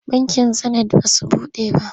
Bankin Zenit ba su buɗe ba.